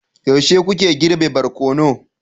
yaushe kuke girbe barkono